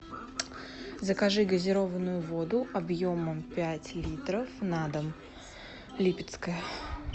закажи газированную воду объемом пять литров на дом липецкая